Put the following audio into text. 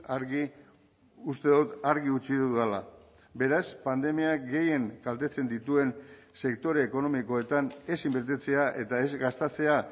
argi uste dut argi utzi dudala beraz pandemiak gehien kaltetzen dituen sektore ekonomikoetan ez inbertitzea eta ez gastatzea